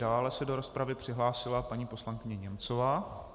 Dále se do rozpravy přihlásila paní poslankyně Němcová.